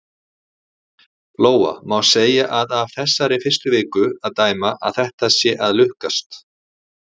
Lóa: Má segja að af þessari fyrstu viku að dæma að þetta sé að lukkast?